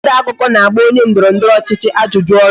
Onye odeakụkọ na-agba onye ndọrọndọrọ ọchịchị ajụjụ ọnụ